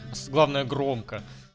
главная громко